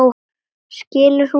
Skilur hún allt?